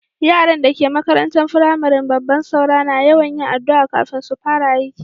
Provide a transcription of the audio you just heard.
Yarann da ke makarantan firamarin babban Saura na yawan yin addu'a kafin su fara aiki.